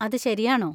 അത് ശരിയാണോ?